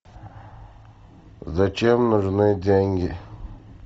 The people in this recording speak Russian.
зачем нужны деньги